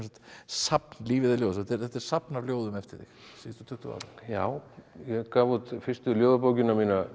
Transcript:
safn lífið er ljóðasafn þetta er safn af ljóðum eftir þig síðustu tuttugu ára já ég gaf út fyrstu ljóðabókina mína